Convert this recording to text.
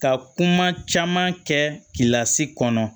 Ka kuma caman kɛ lasi kɔnɔ